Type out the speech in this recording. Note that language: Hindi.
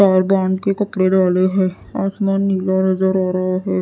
के कपड़े डाले है। आसमान नीला नजर आ रहा है।